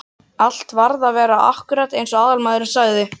Allt varð að vera akkúrat eins og aðalmaðurinn sagði.